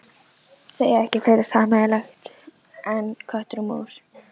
Þið eigið ekki fleira sameiginlegt en köttur og mús.